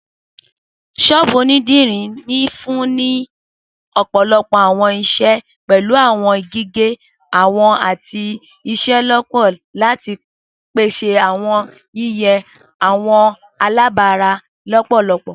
Sọ́ọ́bú onidiri nfunni ni ọpọlọpọ awọn iṣẹ, pẹlu awọn gige, awọ, ati iselona lati pese awọn yiyan awọn alabara lọpọlọpọ.